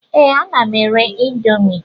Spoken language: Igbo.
Ee, ana m ere índomi